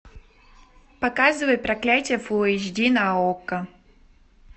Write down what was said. показывай проклятие фулл эйч ди на окко